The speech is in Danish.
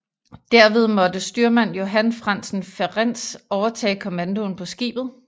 Derved måtte styrmand Johan Frantzen Ferentz overtage kommandoen på skibet